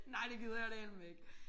Nej det gider jeg dæleme ikke